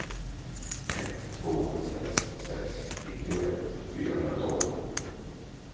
ett två sex sex nittioett fyrahundratolv